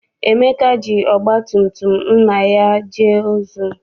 Emeka ji ọgba tum tum nna ya gaa ozi.